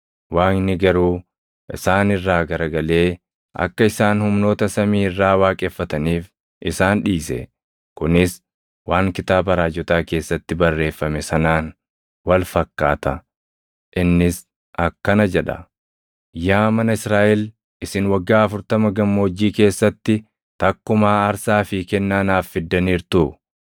Waaqni garuu isaan irraa garagalee akka isaan humnoota samii irraa waaqeffataniif isaan dhiise. Kunis waan kitaaba raajotaa keessatti barreeffame sanaan wal fakkaata; innis akkana jedha; “ ‘Yaa mana Israaʼel isin waggaa afurtama gammoojjii keessatti takkumaa aarsaa fi kennaa naaf fiddaniirtuu?